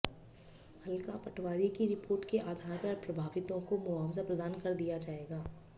हलका पटवारी की रिपोर्ट के आधार पर प्रभावितों को मुआवजा प्रदान कर दिया जाएगा